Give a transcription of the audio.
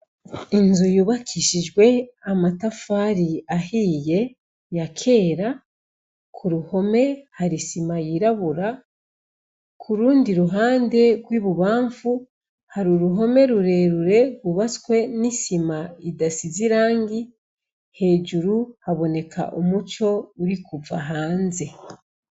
Inzu yubakishijwe amatafari ahiye ya kera, ku ruhome hari isima yirabura, ku rundi ruhande hari rw'ibubanfu hari uruhome rurerure rwubatswe n'isima idasize irangi, hejuru haboneka umuco uri kuva hanze.